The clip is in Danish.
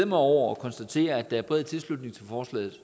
mig over og konstatere at der er bred tilslutning til forslaget